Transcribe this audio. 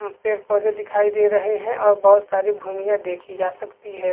पेड़-पौधे दिखाई दे रहै है और बहोत सारी भूमिया देखी जा सकती है।